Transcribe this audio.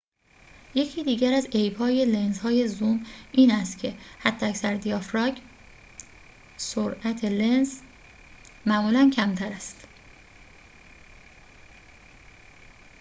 یکی دیگر از عیب‌های لنزهای زوم این است که حداکثر دیافراگم سرعت لنز معمولاً کمتر است